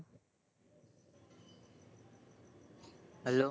hello